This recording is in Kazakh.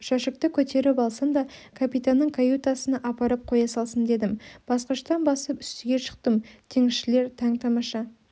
жәшікті көтеріп алсын да капитанның каютасына апарып қоя салсын дедім басқыштан басып үстіге шықтым теңізшілер таң-тамаша